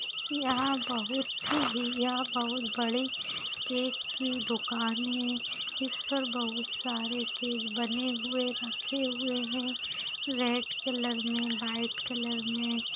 यहा बहुत ही यहा बहुत बड़ी केक की दुकान है इस पर बहुत सारे केक बने हुए रखे हुए है रेड कलर मे व्हाइट कलर मे --